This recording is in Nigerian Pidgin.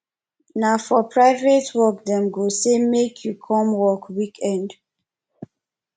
na for private work dem go say make you come work weekend